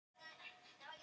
Já, það er nú það.